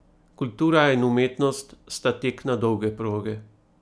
Kultura in umetnost sta tek na dolge proge.